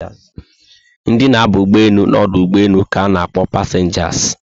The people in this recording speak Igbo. Ndị na aba ụgbọelu na ọdụ ụgbọelu ka na akpọ passengers